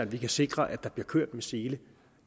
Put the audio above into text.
vi kan sikre at der bliver kørt med sele